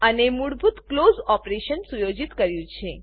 અને મૂળભૂત close operation સુયોજિત કર્યું છે